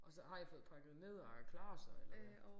Og så har I fået pakket ned og er klar så eller hvad